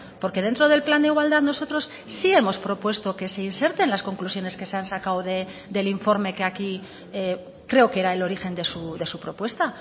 porque dentro del plan de igualdad nosotros sí hemos propuesto que se inserten las conclusiones que se han sacado del informe que aquí creo que era el origen de su propuesta